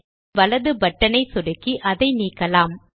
சொடுக்கியின் வலது பட்டன் ஐ சொடுக்கி அதை நீக்கலாம்